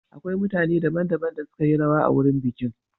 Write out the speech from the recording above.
Akwai mutane daban-daban da suka yi rawa a wurin bikin.